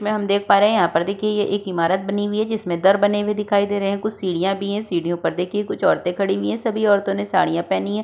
इसमें हम देख पा रहे हैं। यहाँ पर देखिये ये एक इमारत बनी हुई है। जिसमें दर बने हुए दिखाई दे रहे हैं। कुछ सीढ़ियां भी है। सीढ़िओ पर देखिए कुछ औरतें खड़ी हुई है। सभी औरतों ने साड़ियां पहनी है।